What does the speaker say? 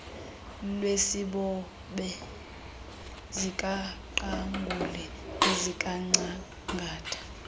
lwesibobe sikaqangule nesikangcangata